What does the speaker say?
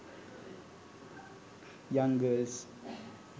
young girls